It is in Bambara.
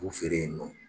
K'u feere yen nɔ